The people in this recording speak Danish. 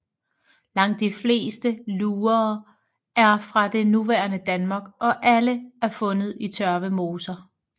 Langt de fleste lurer er fra det nuværende Danmark og alle er fundet i tørvemoser